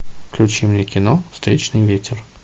включи мне кино встречный ветер